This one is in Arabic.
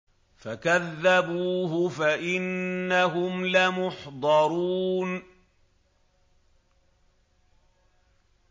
فَكَذَّبُوهُ فَإِنَّهُمْ لَمُحْضَرُونَ